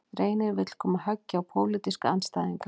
Reynir vill koma höggi á pólitíska andstæðinga